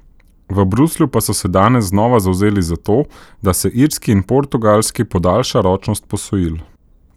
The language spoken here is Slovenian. V Bruslju pa so se danes znova zavzeli za to, da se Irski in Portugalski podaljša ročnost posojil.